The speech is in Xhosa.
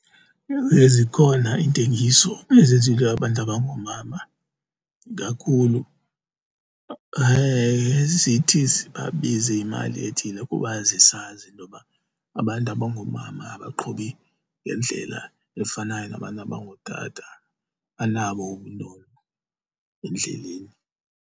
Ewe, zikhona intengiso ezizinto abantu abangoomama kakhulu zithi zibabize imali ethile kuba zisazi intoba abantu abangoomama abaqhubi ngendlela efanayo nabantu abangootata, banabo ubunono endleleni.